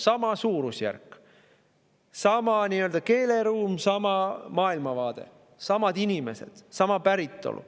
Sama suurusjärk, sama nii-öelda keeleruum, sama maailmavaade, samad inimesed, sama päritolu.